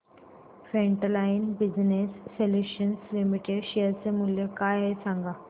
frontline business solutions limited share चे मूल्य काय आहे हे सांगा